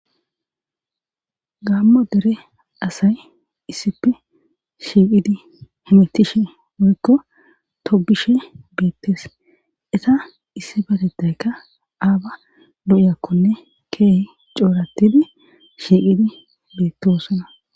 gaammo dere asay issife shiiqidi humetishe woyikko tobishe beettees eta issi batettaykka aaba do7yakkonne keehi coorattidi shiiqidi beettosona